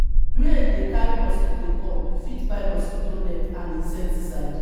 rain dey carry mosquitoes come we fit buy mosquito nets and insecticide